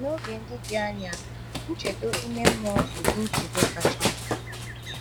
N’oge dị dị anya, nchedo ime mmụọ bụ ụdị nchedo kacha mkpa.